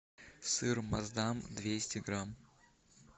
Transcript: сыр маасдам двести грамм